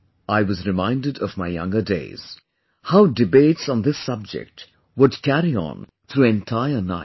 I was reminded of my younger days... how debates on this subject would carry on through entire nights